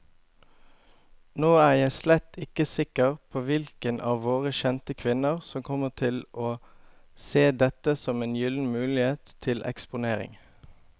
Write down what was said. Nå er jeg slett ikke sikker på hvilke av våre kjente kvinner som kommer til å se dette som en gyllen mulighet til eksponering.